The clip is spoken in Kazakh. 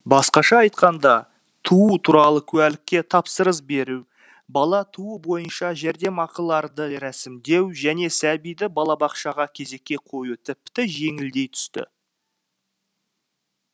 басқаша айтқанда туу туралы куәлікке тапсырыс беру бала туу бойынша жәрдемақыларды рәсімдеу және сәбиді балабақшаға кезекке қою тіпті жеңілдей түсті